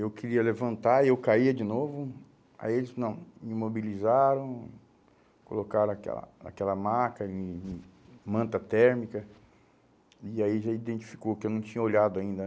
Eu queria levantar, aí eu caía de novo, aí eles, não, me mobilizaram, colocaram aquela aquela maca, hum hum manta térmica, e aí já identificou que eu não tinha olhado ainda, né?